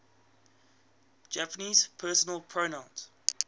japanese personal pronouns